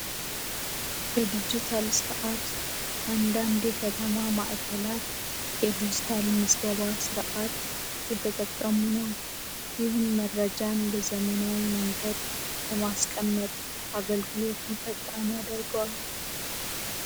የዲጂታል ሰአት አንዳንዴ ከተማ ማዕከላት የዲጂታል ምዝገባ ስርዓት የተጠቀሙ ነው። ኢቨን መረጃ በዘመናዊ መንገድ በማስቀመጥ አገልግሎቱ ፈጣን ያደርገዋል።